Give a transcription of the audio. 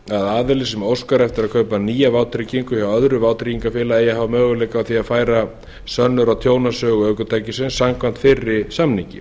aðili sem óskar eftir að kaupa nýja vátryggingu í öðru vátryggingafélagi eigi að hafa möguleika á því að færa sönnur á tjónasögu ökutækisins samkvæmt fyrri samningi